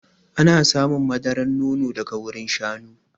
Ana samun madaran nono daga wurin shanu.